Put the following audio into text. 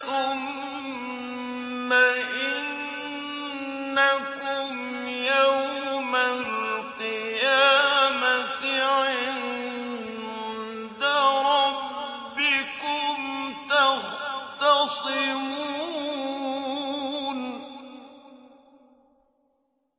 ثُمَّ إِنَّكُمْ يَوْمَ الْقِيَامَةِ عِندَ رَبِّكُمْ تَخْتَصِمُونَ